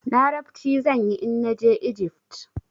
Larabci zan yi in na je Ijift.